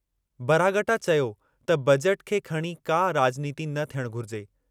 बरागटा चयो त बजेट खे खणी का राॼनीती न थियणु घुरिजे।